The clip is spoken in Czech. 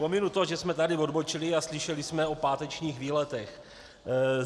Pominu to, že jsme tady odbočili a slyšeli jsme o pátečních výletech.